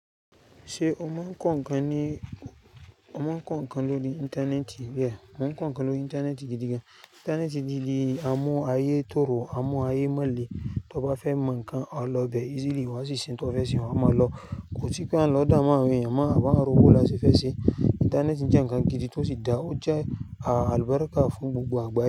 Ṣé ó máa ń kọ ǹkan ní, ó máa ń kọ ǹkan lórí ìntanẹ́ẹ̀tì? Béè, mo ń kọ ǹkan lórí ìntanẹ́ẹ̀tì gidi gan. Ìntanẹ́ẹ̀tì ti di, a mu ayé tòrò, a mu ayé mọ̀lé. Tí o bá fẹ́ mọ ǹkan, o lọ bẹ̀ easily wá sí se n tí o fẹ́ ṣe, wá mọ̀ lọ. Kò sí pé a ń lọ dáamu àwọn èèyàn mọ́, àbi a n rò bó láse fẹ́ ṣe. Ìntanẹ́ẹ̀tì jẹ́ ǹkan gidi tó si da ọje aàlúbarikà fún gbogbo àgbáyé.